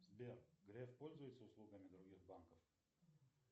сбер греф пользуется услугами других банков